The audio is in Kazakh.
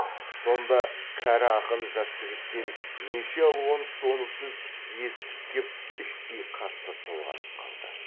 сонда кәрі ақын жас жігіттен неше алуан соны сөз есітіп кеп іштей қатты толғанып қалды